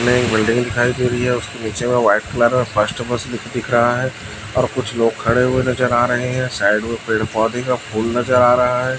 में एक बिल्डिंग दिखाई दे रही है उसके नीचे व्हाइट कलर में फस्ट बक्स भी दिख रहा है और कुछ लोग खड़े हुए नज़र आ रहे है साइड मे पेड़-पौधे का फुल नज़र आ रहा है।